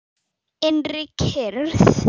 Innri kyrrð.